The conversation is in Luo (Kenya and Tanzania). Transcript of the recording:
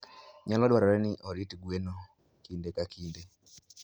Nyalo dwarore ni orit gweno kinde ka kinde.